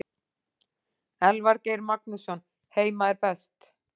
Elvar Geir Magnússon Heima er best.